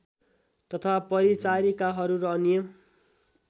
तथा परिचारिकाहरू र अन्य